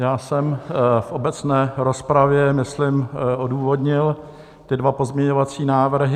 Já jsem v obecné rozpravě, myslím, odůvodnil ty dva pozměňovací návrhy.